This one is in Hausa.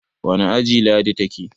wane aji Ladi ta ke?